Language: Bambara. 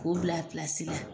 K'o bila a pilasi la.